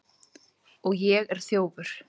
Og ég er þjófur.